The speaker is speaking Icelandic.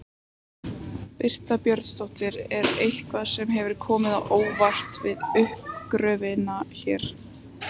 Birta Björnsdóttir: Er eitthvað sem hefur komið á óvart við uppgröftinn hér?